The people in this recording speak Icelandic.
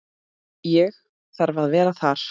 Ég þarf að vera þar.